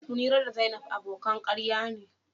Munira da zainab abokan karya ne.